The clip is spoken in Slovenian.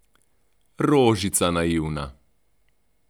Rožica naivna!